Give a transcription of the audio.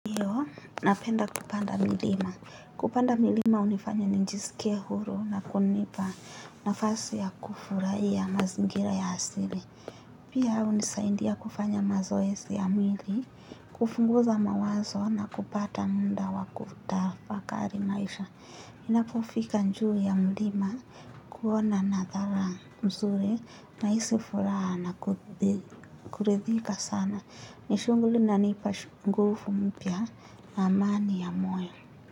Napenda kupanda milima. Kupanda milima hunifanya nijisike huru na kunipa nafasi ya kufurahi a mazingira ya asili. Pia hunisaindia kufanya mazoezi ya mwili, kupunguza mawazo na kupata muda wakuta fakari maisha. Ninapofika juu ya milima kuona na dhala mzuri na hisi furaha na kuridhika sana. Nishughuli inanipashu nguvu mpya na amani yamoyo.